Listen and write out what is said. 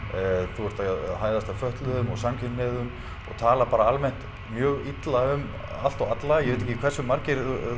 þú ert að hæðast að fötluðum og samkynhneigðum og tala bara almennt mjög illa um allt og alla ég veit ekki hversu marga